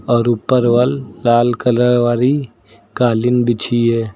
और ऊपर लाल कलर वाली कालीन बिछि है।